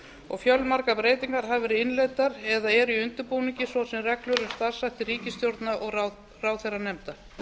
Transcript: og fjölmargar breytingar hafa verið innleiddar eða eru í undirbúningi svo sem reglur um starfshætti ríkisstjórna og ráðherranefnda